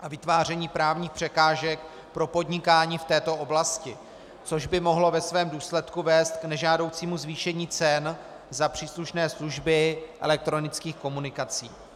a vytváření právních překážek pro podnikání v této oblasti, což by mohlo ve svém důsledku vést k nežádoucímu zvýšení cen za příslušné služby elektronických komunikací.